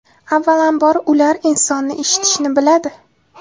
Avvalambor, ular insonni eshitishni biladi.